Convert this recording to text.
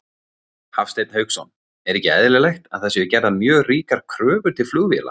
Hafsteinn Hauksson: Er ekki eðlilegt að það séu gerðar mjög ríkar kröfur til flugvéla?